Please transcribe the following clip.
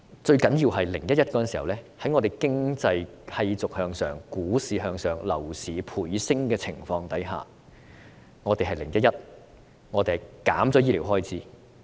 最重要的是，在2011年，在社會經濟繼續向上、股市繼續向上、樓市倍升的情況下，我們推行 "0-1-1" 計劃，削減醫療開支。